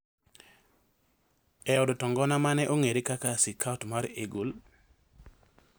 e od to ngona ma ne ong’ere kaka Sikaut mar Eagle.